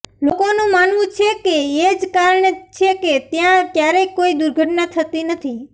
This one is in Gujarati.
લોકોનું માનવું છે કે એ જ કારણ છે કે ત્યાં ક્યારેય કોઇ દુર્ઘટના થતી નથી